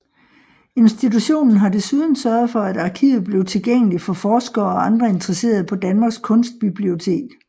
Institutionen har desuden sørget for at arkivet blev tilgængeligt for forskere og andre interesserede på Danmarks Kunstbibliotek